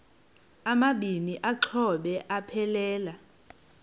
amabini exhobe aphelela